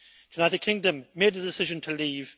The United Kingdom made a decision to leave